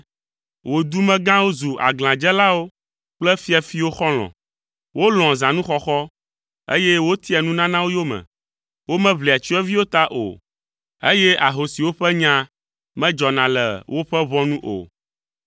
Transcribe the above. Wò dumegãwo zu aglãdzelawo kple fiafiwo xɔlɔ̃, wolɔ̃a zãnuxɔxɔ, eye wotia nunanawo yome. Womeʋlia tsyɔ̃eviwo ta o, eye ahosiwo ƒe nya medzɔna le woƒe ʋɔnu o.